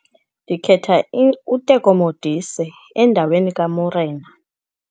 Ndikhetha uTeko Modise endaweni kaMorena.